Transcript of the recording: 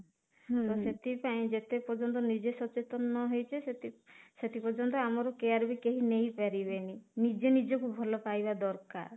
ହୁଁ ତ ସେଥିପାଇଁ ଯେତେ ପର୍ଯ୍ୟନ୍ତ ନିଜେ ସଚେତନ ନ ହେଇଛେ ସେତେ ପର୍ଯ୍ୟନ୍ତ କେହି ଆମର care ନେଇପାରିବେନି ନିଜେ ନିଜକୁ ଭଲ ପାଇବା ଦରକାର